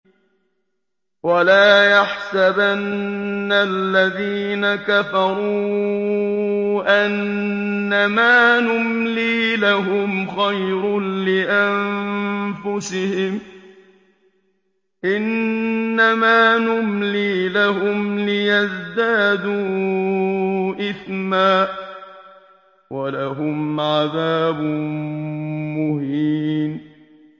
وَلَا يَحْسَبَنَّ الَّذِينَ كَفَرُوا أَنَّمَا نُمْلِي لَهُمْ خَيْرٌ لِّأَنفُسِهِمْ ۚ إِنَّمَا نُمْلِي لَهُمْ لِيَزْدَادُوا إِثْمًا ۚ وَلَهُمْ عَذَابٌ مُّهِينٌ